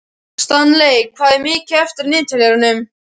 Stanley, hvað er mikið eftir af niðurteljaranum?